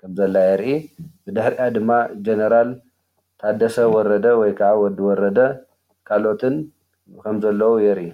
ከምዘላ የርኢ፡፡ ብድሕርኣ ድማ ኣብ ጀነራል ታደሰ ወረደ ወይ ከዓ ወዲ ወረደ ካሎኦትን ከም ዘሎው የርኢ፡፡